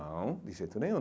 Não, de jeito nenhum.